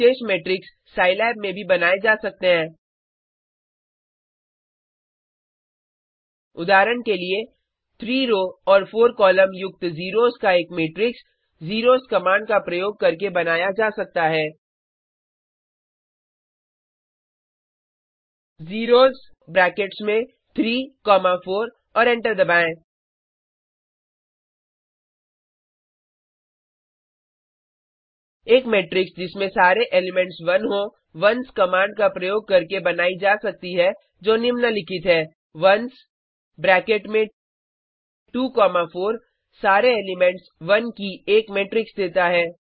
कुछ विशेष matrix Scilab में भी बनाए जा सकते हैं उदाहरण के लिए 3 रो और 4 कॉलम युक्त ज़ीरोज़ का एक मैट्रिक्स ज़ेरोस कमांड का प्रयोग करके बनाया जा सकता है ज़ीरोज़ ब्रैकेट्स में 3 कॉमा 4 और एंटर दबाएँ एक मेट्रिक्स जिसमें सारे एलिमेंट्स 1 हों ओन्स कमांड का प्रयोग करके बनाई जा सकती है जो निम्नलिखित है ओन्स ब्रैकेट में 2 कॉमा 4 सारे एलिमेंट्स1 की एक मेट्रिक्स देता है